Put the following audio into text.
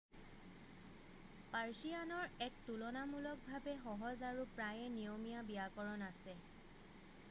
পাৰ্ছিয়ানৰ এক তুলনামূলকভাৱে সহজ আৰু প্ৰায়েই নিয়মীয়া ব্যাকৰণ আছে৷